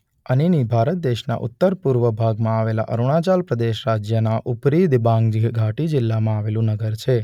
અનીની ભારત દેશના ઉત્તરપૂર્વ ભાગમાં આવેલા અરુણાચલ પ્રદેશ રાજ્યના ઉપરી દિબાંગ ઘાટી જિલ્લામાં આવેલું નગર છે.